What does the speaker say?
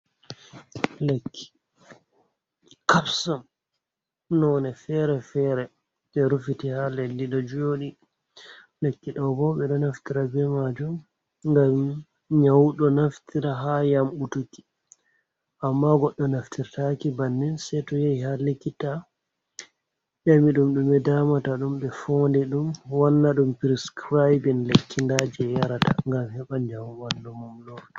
Lekki kapson none fere-fere je rufiti haa leɗɗi ɗo jooɗii, lekki ɗo ɓo ɗo naftira be majum ngam nyaudo naftira haa yam dutuki, amma goɗɗo naftirtaki bannin saito yahi haa lekkita nyami ɗum ɗume damata ɗum ɓe foonɗi ɗum wanna ɗum priskiraibin lekki nda je yarata ngam heɓa njamu ɓandu mum lorta.